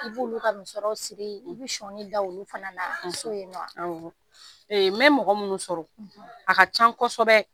I b'olu ka musɔrɔw siri i bɛ sɔninw da olu fana na nɔ wa, awɔ, ee n bɛ mɔgɔ minnu sɔrɔ a ka ca kosɛbɛ